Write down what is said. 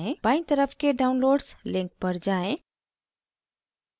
बाईं तरफ के downloads link पर जाएँ